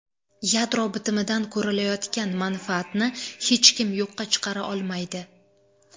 Yadro bitimidan ko‘rilayotgan manfaatni hech kim yo‘qqa chiqara olmaydi.